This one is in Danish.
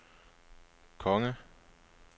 konge